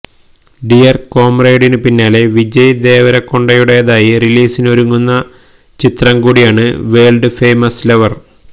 dear കംമ്രേഡിന് പിന്നാലെ വിജയ് ദേവരകൊണ്ടയുടെതായി റിലീസിങ്ങിനൊരുങ്ങുന്ന ചിത്രം കൂടിയാണ് വേള്ഡ് ഫേമസ് ലവര്